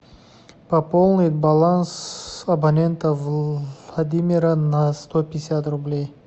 пополнить баланс абонента владимира на сто пятьдесят рублей